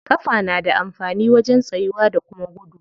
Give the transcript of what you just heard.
Ƙafa na da amfani wajen tsayuwa da kuma gudu.